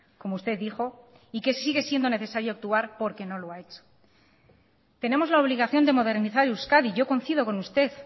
como usted dijo y que sigue siendo necesario actuar porque no lo ha hecho tenemos la obligación de modernizar euskadi yo coincido con usted